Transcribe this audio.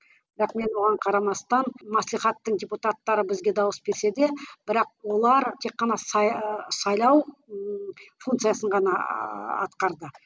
бірақ мен оған қарамастан маслихаттың депутаттары бізге дауыс берсе де бірақ олар тек қана сайлау функциясын ғана атқарды